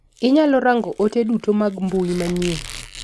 Inyalo rang'o ote duto mag mbui manyien.